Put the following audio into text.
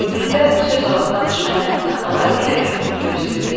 Ömründə söz alıb danışmayan Əminə xala elə bil bunu gözləyirdi.